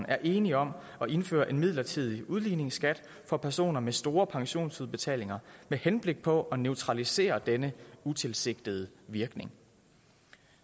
er enige om at indføre en midlertidig udligningsskat for personer med store pensionsudbetalinger med henblik på at neutralisere denne utilsigtede virkning